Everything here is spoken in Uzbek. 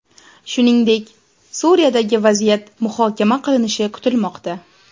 Shuningdek, Suriyadagi vaziyat muhokama qilinishi kutilmoqda.